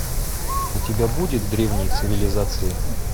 у тебя будет древние цивилизации